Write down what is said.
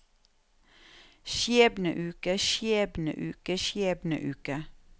skjebneuke skjebneuke skjebneuke